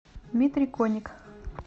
дмитрий коник